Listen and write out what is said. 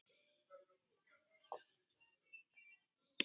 Hagli skyttan skýtur.